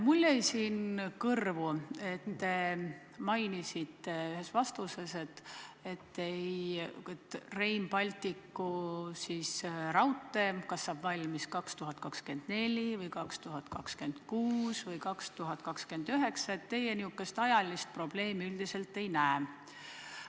Mulle jäi kõrvu, kuidas te mainisite ühes vastuses, et Rail Balticu raudtee saab valmis kas 2024 või 2026 või 2029 ja et teie selles ajalist probleemi üldiselt ei näe.